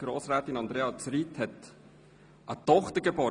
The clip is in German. Grossrätin Andrea Zryd hat am 16. Mai eine Tochter geboren.